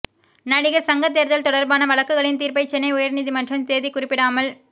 நடிகர் சங்க தேர்தல் தொடர்பான வழக்குகளின் தீர்ப்பை சென்னை உயர் நீதிமன்றம் தேதி குறிப்பிடாமல்